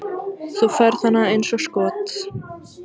Þú færð hana eins og skot.